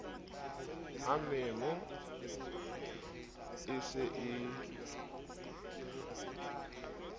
ha memo e se e